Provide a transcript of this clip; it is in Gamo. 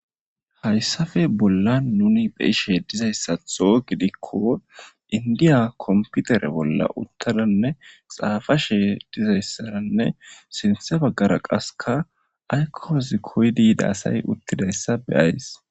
hayssafe bolla nuni be'ishe dizayssatho gidikko indiya komputere bolla uttadanne xaafashe dizayssaranne sinthe baggara qaska aykkoozi koydiida asay uttidayssa be'iyays